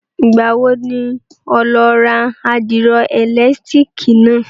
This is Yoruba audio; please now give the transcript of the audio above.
Ìgbà wo ni oó lọ rà àdìro ẹ̀lẹ̀tírìkì náà?